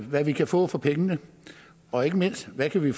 hvad vi kan få for pengene og ikke mindst hvad vi